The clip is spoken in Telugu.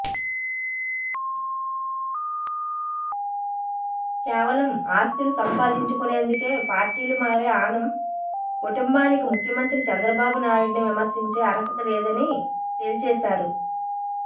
కేవలం ఆస్తులు సంపాదించుకునేందుకే పార్టీలు మారే ఆనం కుటుంబానికి ముఖ్యమంత్రి చంద్రబాబు నాయుడిని విమర్శించే అర్హత లేదని తేల్చేశారు